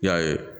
I y'a ye